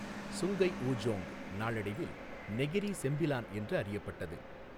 Sungai Ujong நாளடைவில் Negeri Sembilan என்று அறியப்பட்டது.